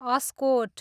Askot